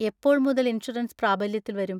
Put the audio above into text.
എപ്പോൾ മുതൽ ഇൻഷുറൻസ് പ്രാബല്യത്തിൽ വരും?